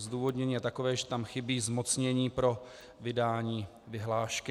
Zdůvodnění je takové, že tam chybí zmocnění pro vydání vyhlášky.